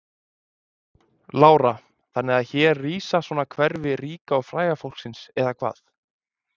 Lára: Þannig að hér er rísa svona hverfi ríka og fræga fólksins eða hvað?